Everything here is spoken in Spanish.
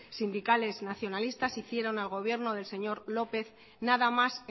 sindicales nacionalistas hicieron al gobierno del señor lópez nada más